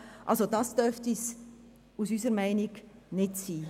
So darf es unserer Meinung nach nicht sein.